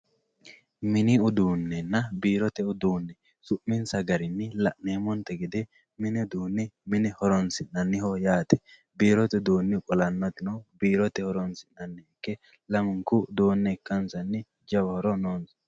mini uduunnenna biirote uduunne yineemmo woyte su'minsa garinni mini uduunni mine horoonsi'nanniho yaate biirote wolantino uduunni biirote horoonsi'nanniha ikke lamunku uduunne ikkansanni jawa horo noosa